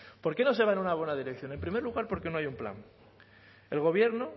por qué no se va en una buena dirección en primer lugar porque no hay un plan el gobierno